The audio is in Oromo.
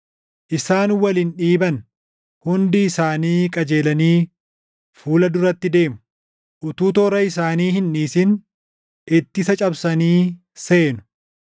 Isaan wal hin dhiiban; hundi isaanii qajeelanii fuula duratti deemu. Utuu toora isaanii hin dhiisin ittisa cabsanii seenu.